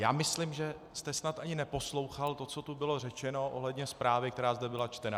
Já myslím, že jste snad ani neposlouchal to, co tu bylo řečeno ohledně zprávy, která zde byla čtena.